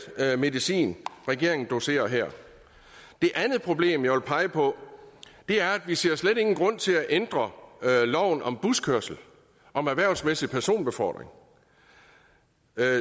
medicin regeringen doserer her et andet problem jeg vil pege på er at vi slet ikke grund til at ændre loven om buskørsel om erhvervsmæssig personbefordring